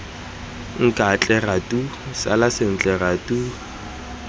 nkatle ratu sala sentle ratu